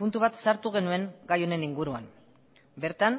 puntu bat sartu genuen gai honen inguruan bertan